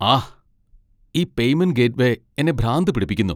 ആഹ്, ഈ payment gateway എന്നെ ഭ്രാന്ത് പിടിപ്പിക്കുന്നു.